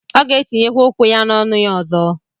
Ọ gētiye kwa ukwu-ya n'ọnu-ya ọzọ.